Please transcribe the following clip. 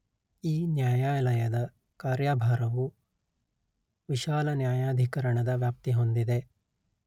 ಈ ನ್ಯಾಯಾಲಯದ ಕಾರ್ಯಭಾರವು ವಿಶಾಲ ನ್ಯಾಯಾಧಿಕರಣದ ವ್ಯಾಪ್ತಿ ಹೊಂದಿದೆ